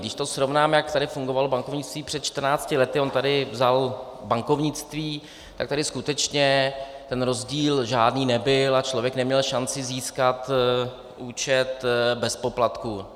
Když to srovnáme, jak tady fungovalo bankovnictví před 14 lety, on tady vzal bankovnictví, tak tady skutečně ten rozdíl žádný nebyl a člověk neměl šanci získat účet bez poplatků.